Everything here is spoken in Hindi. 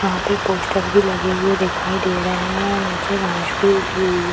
यहां पे पोस्टर भी लगे हुए दिखाई दे रहे हैं और नीचे घास भी उगी हुई हैं।